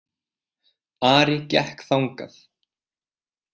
Ari gekk þangað.